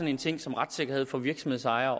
en ting som retssikkerhed for virksomhedsejere